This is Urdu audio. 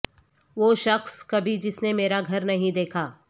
وہ شخص کبھی جس نے مرا گھر نہیں دیکھا